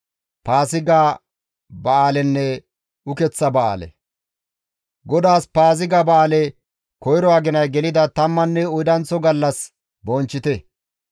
« ‹GODAAS Paaziga ba7aale koyro aginay gelida tammanne oydanththo gallas bonchchite.